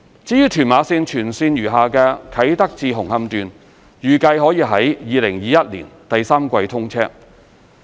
至於屯馬綫全線餘下的"啟德至紅磡段"，預計可於2021年第三季通車。